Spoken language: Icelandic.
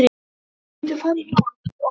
Þeir gætu farið í mál við okkur.